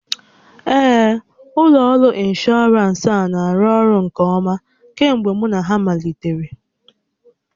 Ee, ụlọ ọrụ ịnshọọransị a na-arụ ọrụ nke ọma kemgbe mụ na ha malitere